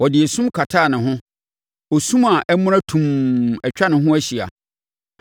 Ɔde sum kataa ne ho, osu a amuna tumm atwa ne ho ahyia.